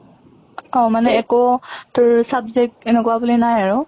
অহ মানে একো তোৰ subject এনেকুৱা বুলি নাই আৰু?